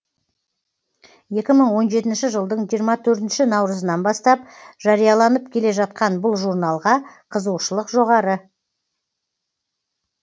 екі мың он жетінші жылдың жиырма төртінші наурызынан бастап жарияланып келе жатқан бұл журналға қызығушылық жоғары